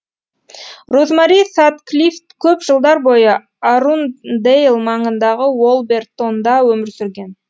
розмари сатклиф көп жылдар бойы арудндэйл маңындағы уалбертонда өмір сүрген